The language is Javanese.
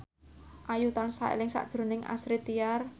Ayu tansah eling sakjroning Astrid Tiar